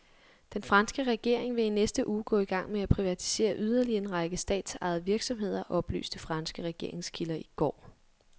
Den franske regering vil i næste uge gå i gang med at privatisere yderligere en række statsejede virksomheder, oplyste franske regeringskilder i går.